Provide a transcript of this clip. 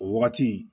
O wagati